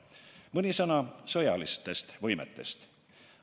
Mõni sõna sõjalistest võimetest.